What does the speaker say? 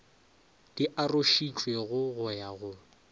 di arošitšwego go ya go